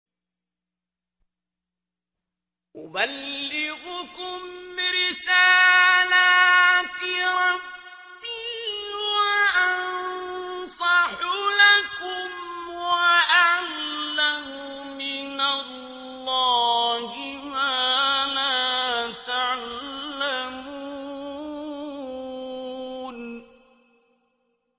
أُبَلِّغُكُمْ رِسَالَاتِ رَبِّي وَأَنصَحُ لَكُمْ وَأَعْلَمُ مِنَ اللَّهِ مَا لَا تَعْلَمُونَ